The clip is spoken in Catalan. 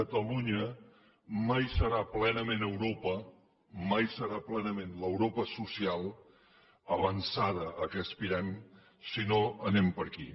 catalunya mai serà plenament europa mai serà plenament l’europa social avançada a què aspirem si no anem per aquí